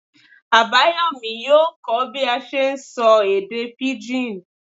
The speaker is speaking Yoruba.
Abayomí yóò kọ́ bí a n ṣe sọ èdè pigín